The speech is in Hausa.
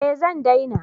Eh zan daina